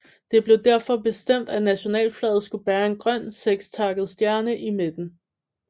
Det blev derfor bestemt at nationalflaget skulle bære en grøn sekstakket stjerne i midten